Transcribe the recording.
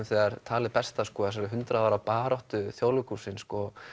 þegar talið berst að þessari hundrað ára baráttu Þjóðleikhússins